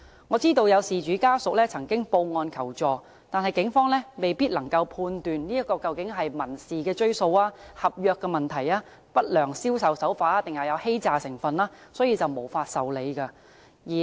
我知道有事主家屬曾報案求助，但警方由於未必能判斷這究竟是民事追訴、合約問題、不良銷售手法還是有欺詐成分而無法受理。